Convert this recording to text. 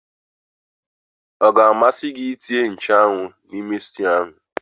Ọga amasị gị ma etinye nchụ́anwu n'ime sịtịụ ahụ?